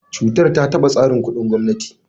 Cutar ta taɓa tsarin kuɗin gwamnati.